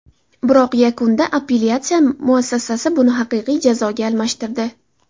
Biroq yakunda appelyatsiya muassasasi buni haqiqiy jazoga almashtirdi.